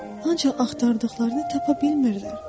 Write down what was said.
Ancaq axtardıqlarını tapa bilmirlər.